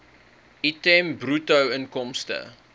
item bruto inkomste